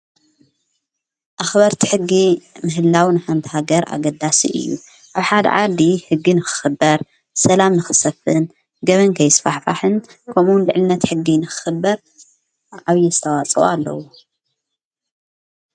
ኣኽበርቲ ሕጊ ምህላው ን ሓንታሃገር ኣገዳስ እዩ ኣብኃድ ዓዲ ሕጊ ንኽኽበር ሰላም ንኽሰፍን ገመንቀይ ስፋሕፋሕን ከምውን ልዕልነት ሕጊ ንኽኽበር ዓብዪሰተዋፅዋ ኣለዉ።